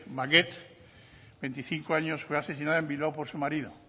maguette veinticinco años fue asesinada en bilbao por su marido